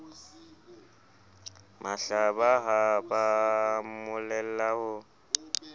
mahlaba ha ba mmolella ho